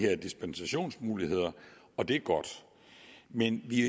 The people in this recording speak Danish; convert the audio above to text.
her dispensationsmuligheder og det er godt men vi